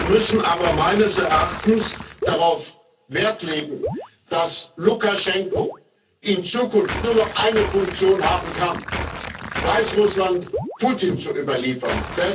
Wir müssen aber meines Erachtens darauf Wert legen, dass Lukaschenko in Zukunft nur noch eine Funktion haben kann Weißrussland Putin zu überliefern.